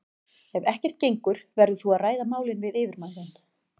Ef ekkert gengur verður þú að ræða málin við yfirmann þinn.